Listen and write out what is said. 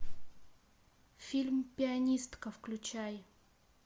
фильм пианистка включай